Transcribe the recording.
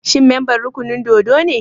Shi memban rukunin dōdo ne?